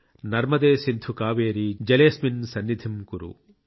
నర్మదే సింధు కావేరీ జలేస్మిన్ సన్నిధిమ్ కురు ||